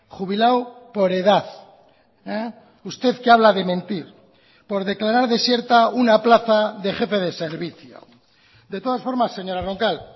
jubilado por edad usted que habla de mentir por declarar desierta una plaza de jefe de servicio de todas formas señora roncal